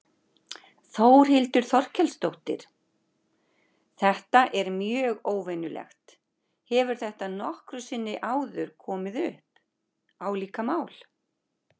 Þórhildur Þorkelsdóttir: Þetta er mjög óvenjulegt, hefur þetta nokkru sinni áður komið upp, álíka mál?